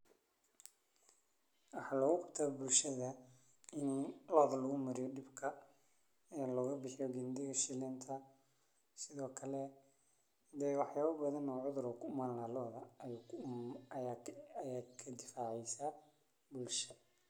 Waxaa ligu qabtaa bulshada ini gandiga shilinta oo ku imani lehed lodha aya kadifaci lahed lodha.